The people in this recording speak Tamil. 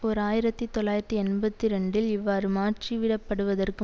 ஓர் ஆயிரத்தி தொள்ளாயிரத்தி எண்பத்தி இரண்டில் இவ்வாறு மாற்றிவிடப்படுவதற்கு